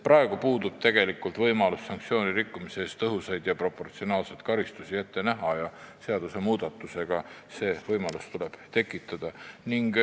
Praegu puudub tegelikult võimalus sanktsiooni rikkumise eest tõhusaid ja proportsionaalseid karistusi ette näha, seaduse muutmisega see võimalus tuleb tekitada.